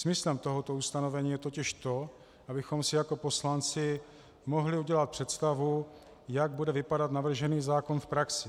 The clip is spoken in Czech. Smyslem tohoto ustanovení je totiž to, abychom si jako poslanci mohli udělat představu, jak bude vypadat navržený zákon v praxi.